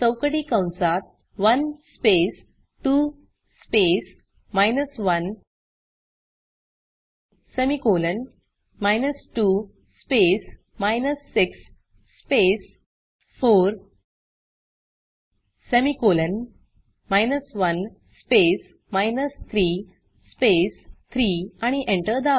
चौकटी कंसात 1 space 2 space 1 semicolon 2 space 6 space 4 semicolon 1 space 3 space 3 आणि एंटर दाबा